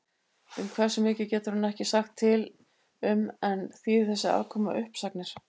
Um hversu mikið getur hann ekki sagt til um en þýðir þessi afkoma uppsagnir?